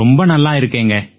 ரொம்ப நல்லாயிருக்கேங்க